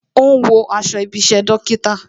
Ó ń wo aṣọ ibi isẹ dókítà